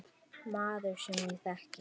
Maður, sem ég þekki.